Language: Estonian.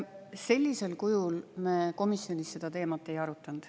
Sellisel kujul me komisjonis seda teemat ei arutanud.